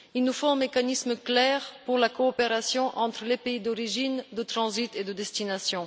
Il nous faut mécanisme clair pour la coopération entre les pays d'origine, de transit et de destination.